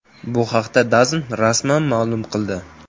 Bu haqda DAZN rasman ma’lum qildi .